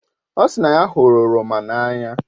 O si na ya hụrụ oroma n'anya